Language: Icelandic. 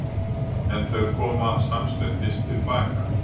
En þau koma samstundis til baka.